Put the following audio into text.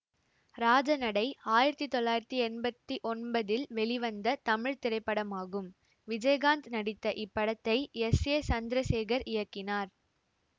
ராஜநடை ஆயிரத்தி தொள்ளாயிரத்தி எம்பத்தி ஒன்பதில் வெளிவந்த தமிழ் திரைப்படமாகும் விஜயகாந்த் நடித்த இப்படத்தை எஸ் ஏ சந்திரசேகர் இயக்கினார்